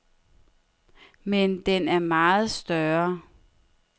Men den er meget større.